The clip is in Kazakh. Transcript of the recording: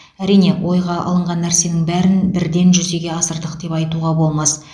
әрине ойға алынған нәрсенің бәрін бірден жүзеге асырдық деп айтуға болмас